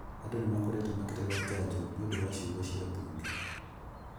andu ni makoretwo makirega jajo ni undu wa ciungo cia mbunge